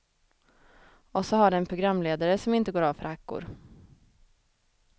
Och så har det en programledare som inte går av för hackor.